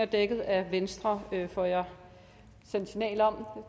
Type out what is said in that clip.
dækket af venstre får jeg signal om